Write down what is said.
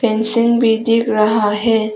Fencing भी दिख रहा है।